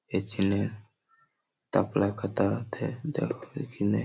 এ ছেলে তারপরে এক দেখিনে।